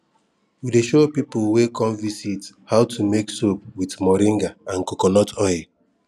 we dey show people wey come visit how to make soap with moringa and coconut oil